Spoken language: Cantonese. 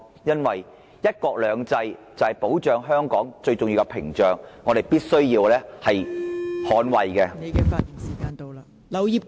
因為"一國兩制"就是保障香港最重要的屏障，我們必須捍衞......